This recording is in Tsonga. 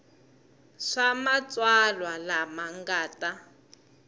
swa matsalwa lama nga ta